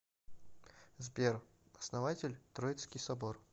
сбер основатель троицкий собор